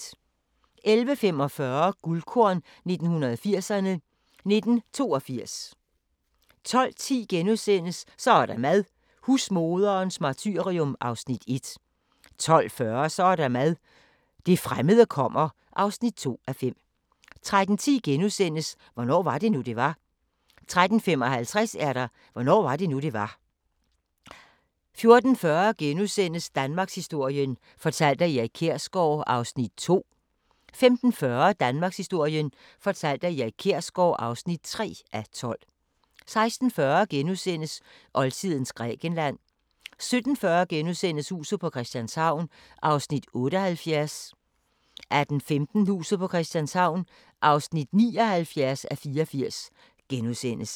11:45: Guldkorn 1980'erne: 1982 12:10: Så er der mad – husmoderens martyrium (1:5)* 12:40: Så er der mad – det fremmede kommer (2:5) 13:10: Hvornår var det nu, det var? * 13:55: Hvornår var det nu, det var? 14:40: Danmarkshistorien fortalt af Erik Kjersgaard (2:12)* 15:40: Danmarkshistorien fortalt af Erik Kjersgaard (3:12) 16:40: Oldtidens Grækenland (Afs. 3)* 17:40: Huset på Christianshavn (78:84)* 18:15: Huset på Christianshavn (79:84)*